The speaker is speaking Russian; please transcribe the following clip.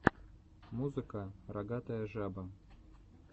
музыка рогатая жаба